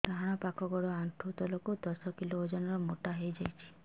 ଡାହାଣ ପାଖ ଗୋଡ଼ ଆଣ୍ଠୁ ତଳକୁ ଦଶ କିଲ ଓଜନ ର ମୋଟା ହେଇଯାଇଛି